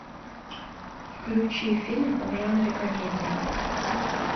включи фильм в жанре комедия